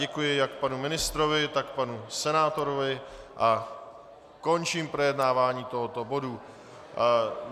Děkuji jak panu ministrovi, tak panu senátorovi a končím projednávání tohoto bodu.